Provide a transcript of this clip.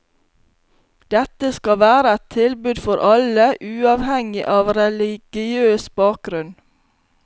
Dette skal være et tilbud for alle, uavhengig av religiøs bakgrunn.